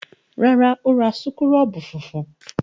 Rárá, ó ra súkúrọ́bù funfun.